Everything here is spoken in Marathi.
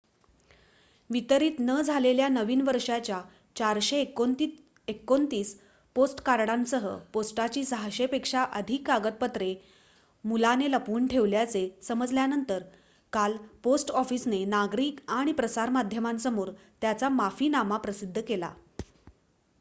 वितरित न झालेल्या नवीन वर्षाच्या ४२९ पोस्टकार्डांसह पोस्टाची ६०० पेक्षा अधिक कागदपत्रे मुलाने लपवून ठेवल्याचे समजल्यानंतर काल पोस्ट ऑफिसने नागरिक आणि प्रसारमाध्यमांसमोर त्यांचा माफिनामा प्रसिद्ध केला